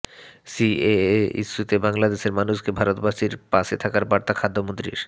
CAA ইস্যুতে বাংলাদেশের মানুষকে ভারতবাসীর পাশে থাকার বার্তা খাদ্যমন্ত্রীর